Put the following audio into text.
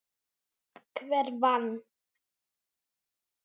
Hver vann?